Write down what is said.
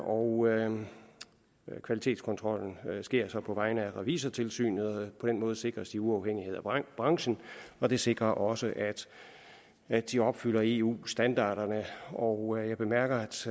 og kvalitetskontrollen sker så på vegne af revisortilsynet på den måde sikres de uafhængighed af branchen og det sikrer også at de opfylder eu standarderne og jeg bemærker